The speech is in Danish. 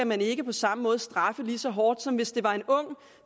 man ikke på samme måde skal straffe lige så hårdt som hvis det var en ung